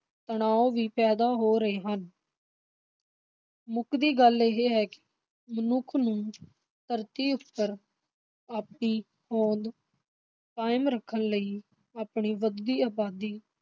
ਤਣਾਓ ਵੀ ਪੈਦਾ ਹੋ ਰਹੇ ਹਨ ਮੁੱਕਦੀ ਗੱਲ ਇਹ ਹੈ ਮਨੁੱਖ ਨੂੰ ਧਰਤੀ ਉੱਪਰ, ਆਪਣੀ ਹੋਂਦ ਕਾਇਮ ਰੱਖਣ ਲਈ ਆਪਣੀ ਵਧਦੀ ਅਬਾਦੀ